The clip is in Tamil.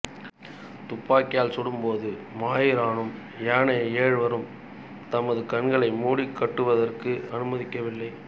துப்பாக்கியால் சுடப்படும் போது மயூரனும் ஏனைய எழுவரும் தமது கண்களை மூடிக் கட்டுவதற்கு அனுமதிக்கவில்லை